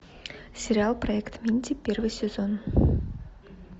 сериал проект минди первый сезон